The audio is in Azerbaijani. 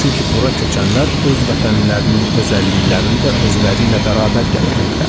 Çünki bura köçənlər öz vətənlərinin özəlliklərini özləri ilə bərabər gətirirlər.